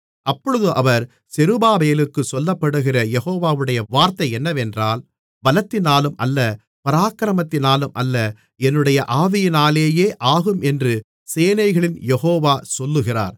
அப்பொழுது அவர் செருபாபேலுக்குச் சொல்லப்படுகிற யெகோவாவுடைய வார்த்தை என்னவென்றால் பலத்தினாலும் அல்ல பராக்கிரமத்தினாலும் அல்ல என்னுடைய ஆவியினாலேயே ஆகும் என்று சேனைகளின் யெகோவா சொல்லுகிறார்